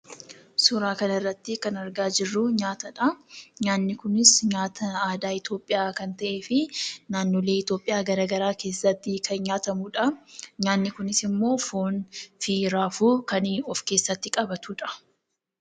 Suuraa kanarratti kan argaa jirru nyaatadha. nyaanni kunis nyaata aadaa Itiyoophiyaa kan ta'ee fi naannoolee Itiyoophiyaa garaagaraa keessatti kan nyaatamudha. nyaanni kunis immoo foonii fi raafuu of keessatti qabatudha.